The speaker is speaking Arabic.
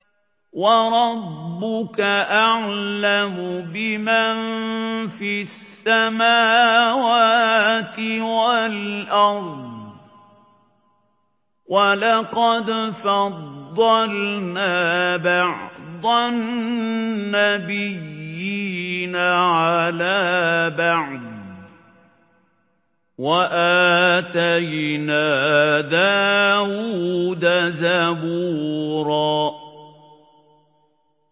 وَرَبُّكَ أَعْلَمُ بِمَن فِي السَّمَاوَاتِ وَالْأَرْضِ ۗ وَلَقَدْ فَضَّلْنَا بَعْضَ النَّبِيِّينَ عَلَىٰ بَعْضٍ ۖ وَآتَيْنَا دَاوُودَ زَبُورًا